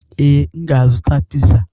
Ee, m ga-azụta piza.